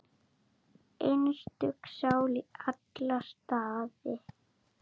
Einstök sál í alla staði.